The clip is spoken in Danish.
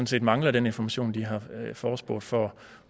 set mangler den information de har efterspurgt for